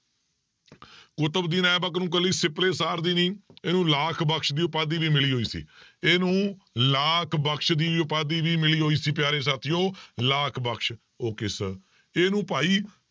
ਕੁਤਬਦੀਨ ਐਬਕ ਨੂੰ ਇਕੱਲੀ ਸਿਪਲੇ ਸਾਰ ਦੀ ਨੀ ਇਹਨੂੰ ਲਾਖ ਬਕਸ ਦੀ ਉਪਾਧੀ ਵੀ ਮਿਲੀ ਹੋਈ ਸੀ ਇਹਨੂੰ ਲਾਖ ਬਕਸ ਦੀ ਉਪਾਧੀ ਵੀ ਮਿਲੀ ਹੋਈ ਸੀ ਪਿਆਰੇ ਸਾਥੀਓ ਲਾਖ ਬਕਸ okay sir ਇਹਨੂੰ ਭਾਈ